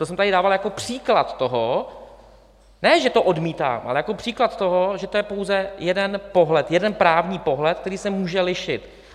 To jsem tady dával jako příklad toho... ne, že to odmítám, ale jako příklad toho, že to je pouze jeden pohled, jeden právní pohled, který se může lišit.